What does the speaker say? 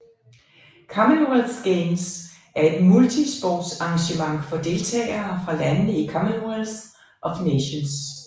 Commonwealth Games er et multisportsarrangement for deltagere fra landene i Commonwealth of Nations